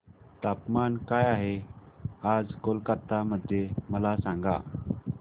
तापमान काय आहे आज कोलकाता मध्ये मला सांगा